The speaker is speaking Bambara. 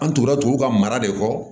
An tugura tuguw ka mara de kɔ